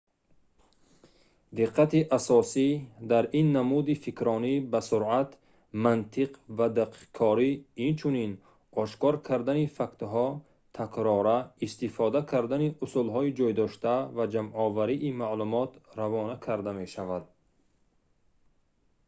диққати асосӣ дар ин намуди фикрронӣ ба суръат мантиқ ва дақиқкорӣ инчунин ошкор кардани фактҳо такрора истифода кардани усулҳои ҷойдошта ва ҷамъоварии маълумот равона карда мешавад